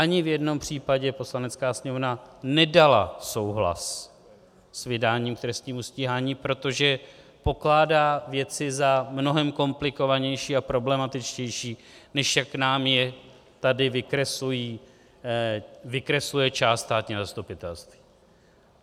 Ani v jednom případě Poslanecká sněmovna nedala souhlas s vydáním k trestnímu stíhání, protože pokládá věci za mnohem komplikovanější a problematičtější, než jak nám je tady vykresluje část státního zastupitelstva.